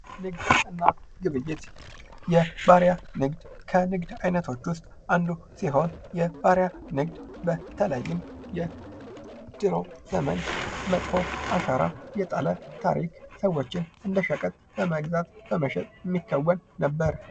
ንግድና ግብይት የባሪያ ንግድ ከንግድ አይነቶች ዉስጥ አንዱ ሲሆን የባሪያ ንግድ በተለይም በድሮ ዘመን መጥፎ አሻራ የጣለ ታሪክ ሰዎችን እንደ ሸቀጥ በመግዛት በመሸጥ የሚከወን ነበር።